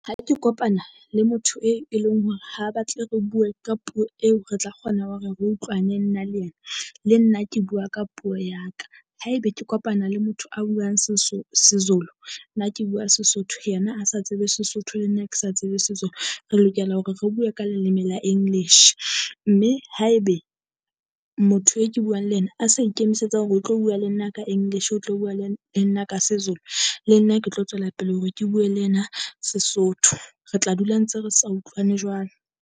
Ha ke kopana le motho e, e leng hore ha batle re bue ka puo eo re tla kgona hore re utlwane nna le yena. Le nna ke bua ka puo ya ka, haebe ke kopana le motho a buang Sezulu, nna ke bua Sesotho yena a sa tsebe Sesotho le nna ke sa tsebe Sezulu. Re lokela hore re bue ka leleme la English, mme haebe motho e ke buang le yena a sa ikemisetsa hore o tlo bua le nna ka English, o tlo bua le, le nna ka Sezulu. Le nna ke tlo tswela pele hore ke bue le yena Sesotho Re tla dula ntse re sa utlwane jwalo.